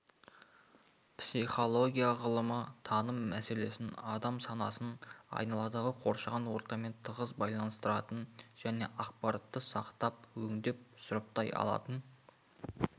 психология ғылымы таным мәселесін адам санасын айналадағы қоршаған ортамен тығыз байланыстыратын және ақпаратты сақтап өңдеп сұрыптай алатын